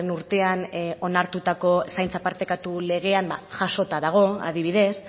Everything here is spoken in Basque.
urtean onartutako zaintza partekatu legean jasota dago adibidez